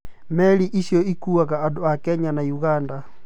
Meri icio ĩkuaga andu a Kenya na Uganda